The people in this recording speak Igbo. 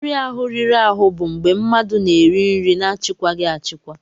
Nri ahụ riri ahụ bụ mgbe mmadụ na-eri nri na-achịkwaghị achịkwa.